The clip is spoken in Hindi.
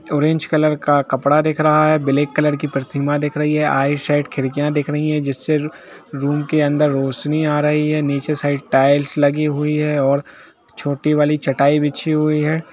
ऑरेंज कलर का कपड़ा दिख रहा है ब्लैक कलर की प्रतीमा दिख रही है आइट साइड खिड़कीया दिख रही है जिससे रूम के अंदर रोशनी आ रही है निचे की साइड टाइल्स लगी हुए है और छोटी वाली चटाइ बिची हुए है।